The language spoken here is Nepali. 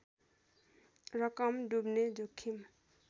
रकम डुब्ने जोखिम